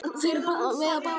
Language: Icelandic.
Þeir veiða báðir í net.